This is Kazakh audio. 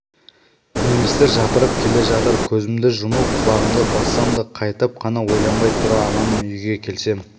немістер жапырып келе жатыр көзімді жұмып құлағымды бассам да қайтып қана ойланбай тұра аламын үйге келсем